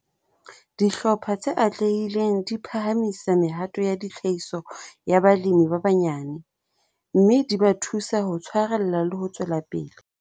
Dihlopha tse atlehileng di phahamisa mehato ya tlhahiso ya balemi ba banyane, mme di ba thusa ho tshwarella le ho tswela pele.